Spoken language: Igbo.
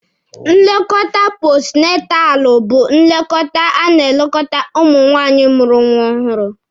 Nlekọta postu natalụ bu nlekọta a na-elekọta nwaanyị mụrụ nwa ọhụrụ.